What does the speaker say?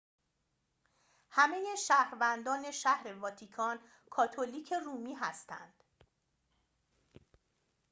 همه شهروندان شهر واتیکان کاتولیک رومی هستند